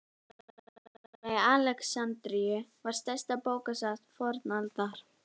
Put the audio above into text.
Bókasafnið mikla í Alexandríu var stærsta bókasafn fornaldar.